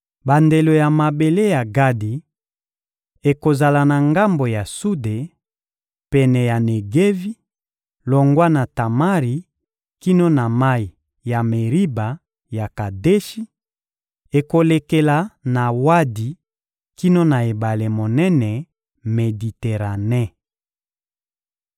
Bandelo ya mabele ya Gadi ekozala na ngambo ya sude, pene ya Negevi, longwa na Tamari kino na mayi ya Meriba ya Kadeshi; ekolekela na Wadi kino na ebale monene Mediterane.